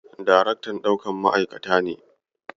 Daraktan ɗaukan ma'aikata ne.